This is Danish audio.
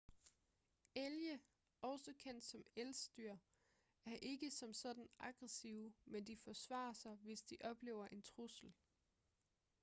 elge også kendt som elsdyr er ikke som sådan aggressive men de forsvarer sig hvis de oplever en trussel